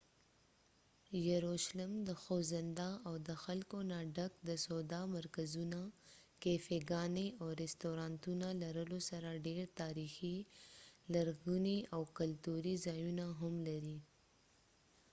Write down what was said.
یروشلم د خوځنده او د خلکو نه ډک د سودا مرکزونه ،کېفی ګانی، او رستورانتونو لرلو سره ډیر تاریخی، لرغونی ،او کلتوری ځایونه ههم لري